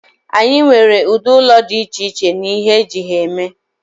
anyị nwere ụdị ụlọ dị iche iche na ihe eji ha eme